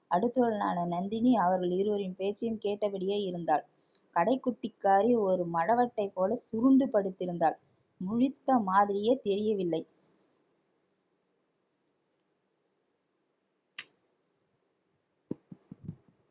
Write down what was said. அடுத்தவளான நந்தினி அவர்கள் இருவரின் பேச்சையும் கேட்டபடியே இருந்தாள் கடைக்குட்டிக்காரி ஒரு மடவத்தைப் போல சுருண்டு படுத்திருந்தாள் முழித்த மாதிரியே தெரியவில்லை